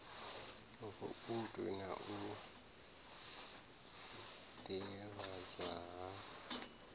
voutu na u ḓivhadzwa ha